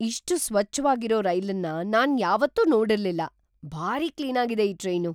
ಇಷ್ಟು ಸ್ವಚ್ಛವಾಗಿರೋ ರೈಲನ್ನ ನಾನ್ ಯಾವತ್ತೂ ನೋಡಿರ್ಲಿಲ್ಲ! ‌ಭಾರಿ ಕ್ಲೀನಾಗಿದೆ ಈ ಟ್ರೈನು!